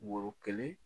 Woro kelen